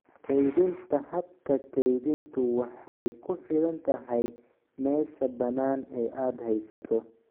Kaydinta Habka kaydintu waxay ku xidhan tahay meesha bannaan ee aad haysato.